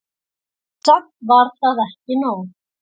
Samt var það ekki nóg.